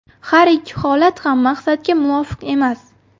Har ikki holat ham maqsadga muvofiq emas.